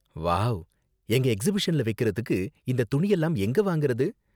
Wow, எங்க எக்ஸிபிஷன்ல வைக்குறதுக்கு இந்த துணியெல்லாம் எங்க வாங்குறது?